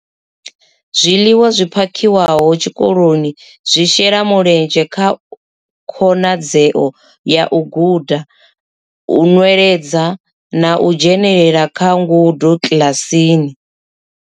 Zwiḽiwa zwi phakhiwaho tshikoloni zwi shela mulenzhe kha khonadzeo ya u guda, u nweledza na u dzhenela kha ngudo kiḽasini.